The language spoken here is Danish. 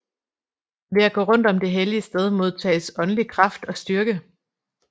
Ved at gå rundt om det hellige sted modtages åndelig kraft og styrke